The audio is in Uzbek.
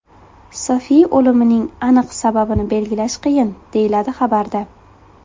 Sofi o‘limining aniq sababini belgilash qiyin, deyiladi xabarda.